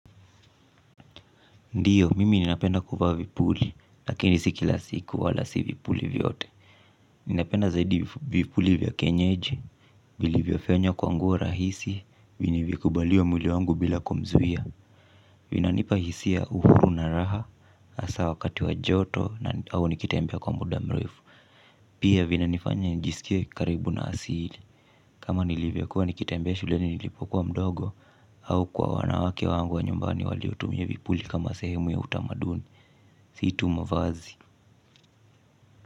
Ndiyo, mimi ninapenda kuvaa vipuli, lakini si kila siku wala si vipuli vyote. Ninapenda zaidi vipuli vya kienyeji, vilivyofenywa kwa nguo rahisi, vinivyokubalia mwili wangu bila kumzuia. Vinanipa hisia uhuru na raha, hasa wakati wa joto, au nikitambea kwa muda mrefu. Pia vinanifanya njisikie karibu na asili. Kama nilivyokua nikitembea shuleni nilipokuwa mdogo, au kwa wanawake wangu wa nyumbani waliotumia vipuli kama sehemu ya utamaduni. Si tu mavazi.